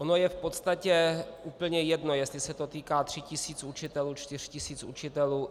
Ono je v podstatě úplně jedno, jestli se to týká tří tisíc učitelů, čtyř tisíc učitelů.